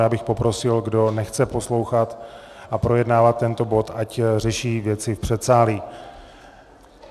Já bych poprosil, kdo nechce poslouchat a projednávat tento bod, ať řeší věci v předsálí.